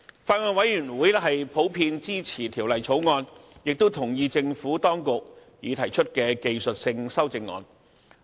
法案委員會普遍支持《條例草案》，亦同意政府當局已提出的技術性修正案。